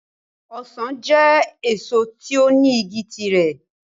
Ọsàn jẹ́ èso tó ní igi ti rẹ̀.